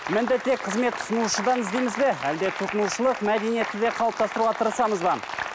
мінді тек қызмет ұсынушыдан іздейміз бе әлде тұтынушылық мәдениетті де қалыптастыруға тырысамыз ба